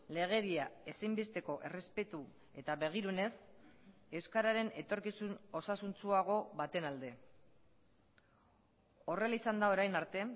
legedia ezinbesteko errespetu eta begirunez euskararen etorkizun osasuntsuago baten alde horrela izan da orain arte